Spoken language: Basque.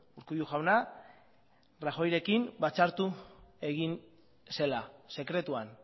urkullu jauna rajoyrekin batzartu egin zela sekretuan